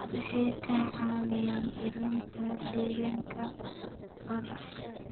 Waxay ka caawiyaan ilaalinta deegaanka badda.